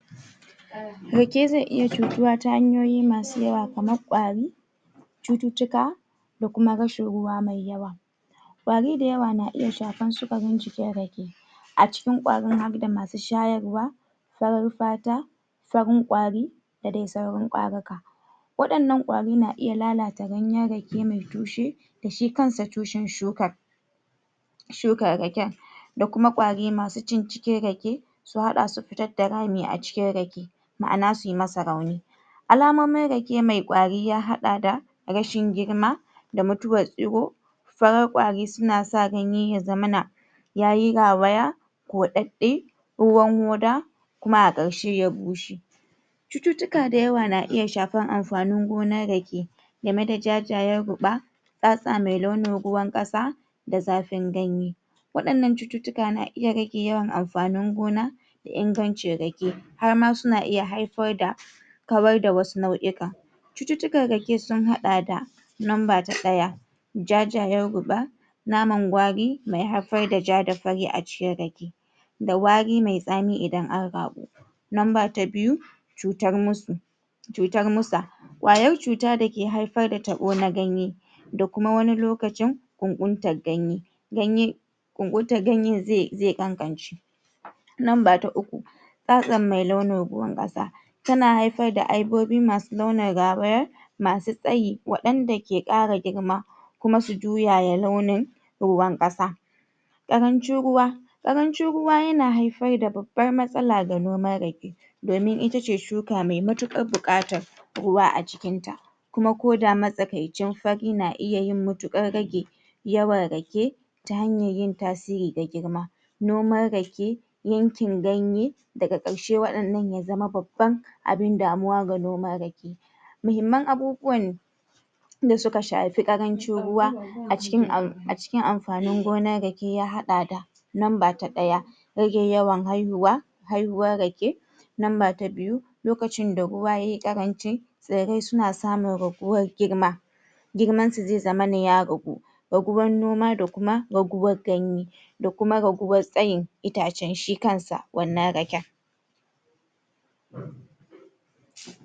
Rake zai iya cutuwa ta hanyoyi masu yawa kamar kwari cututtuka da kuma rashin ruwa mai yawa kwari da yawa na iya shafar sukarin jikin rake a cikiin ƙwarin har da masu shayarwa farar fata farin ƙwari da dai sauran ƙwaruka waɗannan ƙwarin na iya lalata ganyen rake ya bushe shi kansa tushen shukar shukar raken da kuma ƙwari masu cin cikin rake ta haɗa su fitar da rami a cikin rake ma'ana su masa rami alamomin rake mai ƙwari sun haɗa da rashin girma da mutuwar igo farin ƙwari suna sa ganye ya zamana ya yi rawaya wa ɗab'i ruwan hoda kuma a ƙarshe ya bushe cututtuka da yawa na iya shafar amfanin gonar rake game da jajayen ruɓa fata mai naulin ruwan ƙasa da zafin gani waɗannan cututtuka suna iya rage amfanin gona ingancin rake har ma suna iya haifar da kawar da wasu nau'ika cututtukan rake sun haɗa da; lamba ta ɗaya jajayen ruɓa naman kwari mai haifar da ja da fari a cikin rake da wari mai tsami idan an raɓu lamba ta biyu cutar mur cutar musa ƙwayar cuta mai haifar da taɓo na ganye da kuma wani lokacin bunburtar ganye ganye ɓunɓuntar ganyen zai ƙaƙamai lamba ta uku fata mai naulin ruwan ƙasa tana haifar da aibobi masu launin rawaya masu tsayi waɗanda ke ƙara girma kuma su juya ya launin ruwan ƙas ƙarancin ruwa ƙarancin ruwa yana haifar da babbar matsala girman rake domin ita ce shuka mai matuƙar buƙatar ruwa a jiki kuma ko da matsakaicin fari na iya matuƙar rage yawan rake ta hanyar yin tasiri ga girma noman rake yankin ganye daga ƙarshe waɗannan ya zama babban abin damuwa ga noman rake muhimman abubuwan yi wanda suka shafi ƙarancin ruwa a cikin amfanin gona rake ya haɗa da; lamba ta ɗaya rage yawan haihuwa haihuwar rake lamba ta biyu lokacin da ruwa ya yi ƙaranci domin suna samun raguwar girma girmansa zai zamana ya ragu raguwar noma da kuma raguwar ganye da kuma raguwar tsayi itacen shi kansa wannan raken.